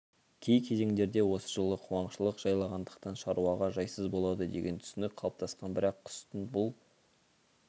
кей кезеңдерде осы жылы қуаңшылық жайлағандықтан шаруаға жайсыз болады деген түсінік қалыптасқан бірақ құстың бұл